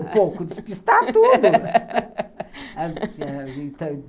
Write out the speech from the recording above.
pouco, despistar tudo.